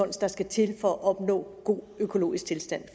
der skal til for at opnå god økologisk tilstand